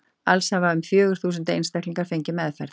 Alls hafa um fjögur þúsund einstaklingar fengið meðferð.